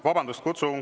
Vabandust!